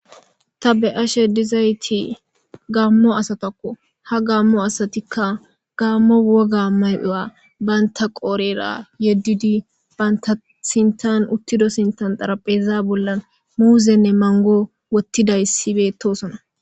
ta be ashe dizayti gaammo asatakko ha gammo asatikka gammo woga may7uya baynta qoorera yeddudi baynta sintan uttido sintan xarapheza bollan muuzenne mango wottidayssibe toosona